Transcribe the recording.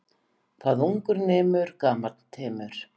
Hvað ungur nemur gamall temur.